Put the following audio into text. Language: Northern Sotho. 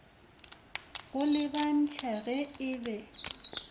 go lebantšha ge e be